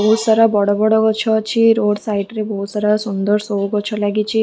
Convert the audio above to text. ବହୁତ ସାରା ବଡ ବଡ ଗଛ ଅଛି ରୋଡ ସାଇଡ ରେ ବହୁତ ସାରା ସୁନ୍ଦର ଶୋ ଗଛ ଲାଗିଛି ।